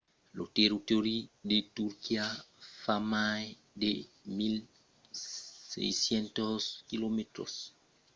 lo territòri de turquia fa mai de 1 600 quilomètres 1 000 milas de long e 800 km 500 milas d’ample amb una forma aproximativament rectangulara